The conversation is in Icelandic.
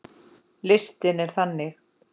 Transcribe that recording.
Listinn er þannig